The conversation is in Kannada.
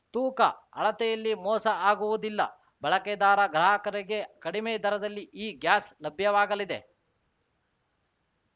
ತೂಕ ಅಳತೆಯಲ್ಲಿ ಮೋಸ ಆಗುವುದಿಲ್ಲ ಬಳಕೆದಾರ ಗ್ರಾಹಕರಿಗೆ ಕಡಿಮೆ ದರದಲ್ಲಿ ಈ ಗ್ಯಾಸ್‌ ಲಭ್ಯವಾಗಲಿದೆ